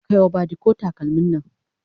Kai wa badiko takalmin Nan!